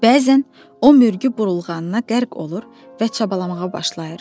Bəzən o mürgü burulğanına qərq olur və çabalamağa başlayır.